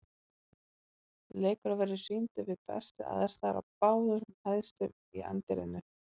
Leikurinn verður sýndur við bestu aðstæður á báðum hæðum í anddyrinu.